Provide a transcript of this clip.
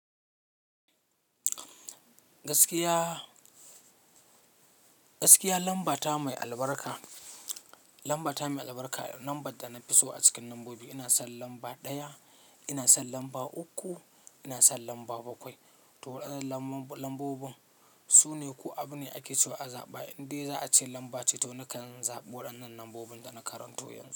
Gaskiya, gaskiya, lambata mai albarka, lambata mai albarka lambar da na fi so a cikin lambobi. Ina son lamba ɗaya, ina son lamba uku, ina son lamba bakwai. To waɗannan lambobin su ne ko abu ne ake so azaɓa indai za'a ce lamba ce to nakan zaɓi waɗannan lambobin da na karanto yanzu.